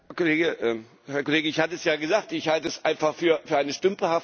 Herr Kollege! Ich hatte es ja gesagt Ich halte es einfach für eine stümperhafte Arbeit.